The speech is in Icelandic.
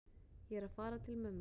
Ég er að fara til mömmu.